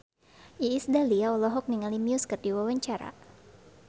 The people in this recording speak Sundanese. Iis Dahlia olohok ningali Muse keur diwawancara